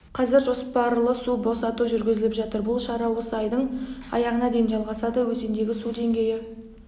қазір жоспарлы су босату жүргізіліп жатыр бұл шара осы айдың аяғына дейін жалғасады өзендегі су деңгейі